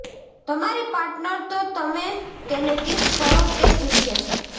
તમારી પાર્ટનર તો તમે તેને કિસ કરો તે જ ઇચ્છે છે